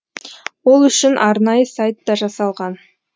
ол үшін арнайы сайт та жасалған